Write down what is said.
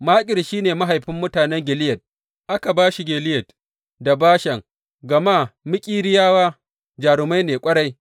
Makir shi ne mahaifin mutanen Gileyad, aka ba shi Gileyad da Bashan gama Makiriyawa jarumai ne ƙwarai.